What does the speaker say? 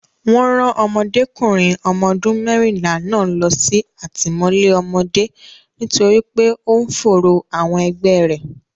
Wọn rán Ọmọdékùnrin ọmọ ọdún mẹ́rìnlá náà lọ sí àtìmọ́lé ọmọdé nítorí pé ó ń fòòró àwọn ẹgbẹ́ rẹ̀.